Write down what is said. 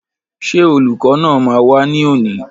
Ṣé olùkọ́ náà máa wá ní òní?